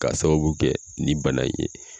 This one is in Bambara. Ka sababu kɛ nin bana in ye.